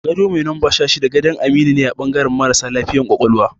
Gado mai numba 16 dane gadan Aminu a bangaran marasa lafiya ƙwaƙwalwa